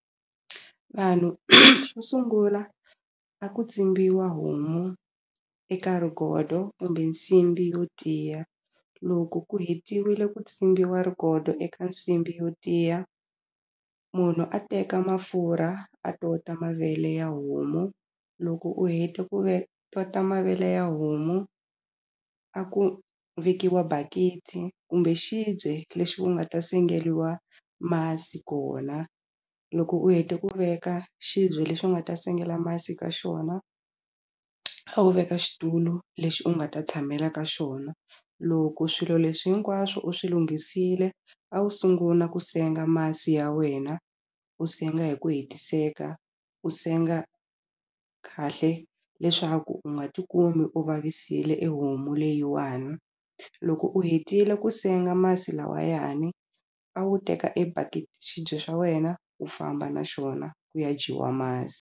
Vanhu xo sungula a ku tsimbiwa homu eka rigodo kumbe nsimbhi yo tiya loko ku hetiwile ku tsimbiwa rigodo eka nsimbhi yo tiya munhu a teka mafurha a tota mavele ya homu loko u heta ku ve tota mavele ya homu a ku vekiwa bakiti kumbe xibye lexi ku nga ta sengeliwa masi kona loko u hete ku veka xibye lexi u nga ta sengela masi ka xona a wu veka xitulu lexi u nga ta tshamela ka xona loko swilo leswi hinkwaswo u swi lunghisile a wu sungula ku senga masi ya wena u senga hi ku hetiseka u senga kahle leswaku u nga ti kumi u vavisile e homu leyiwani loko u hetile ku senga masi lawayani a wu teka xibye swa wena u famba na xona ku ya dyiwa masi.